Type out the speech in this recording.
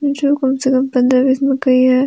नीचे कम से कम पन्द्रह बीस मकई है।